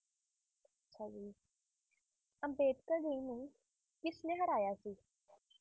ਹਾਂਜੀ ਅੰਬੇਡਕਰ ਜੀ ਨੂੰ ਕਿਸਨੇ ਹਰਾਇਆ ਸੀ